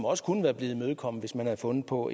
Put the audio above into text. også kunne være blevet imødekommet hvis man havde fundet på